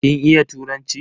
Kin iya turanci?